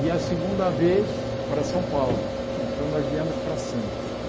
E a segunda vez para São Paulo, então nós viemos para Santos.